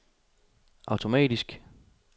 automatisk